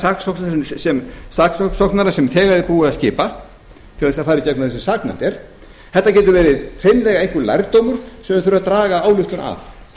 saksóknara sem þegar er búið að skipa til þess að fara í gegnum það sem saknæmt er þetta getur verið hreinlega einhver lærdómur sem menn þurfa að draga ályktun af